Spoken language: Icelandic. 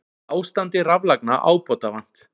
Ástandi raflagna ábótavant